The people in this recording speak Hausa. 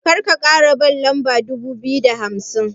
Karka kara ban lamba dubu biyu da hamsin.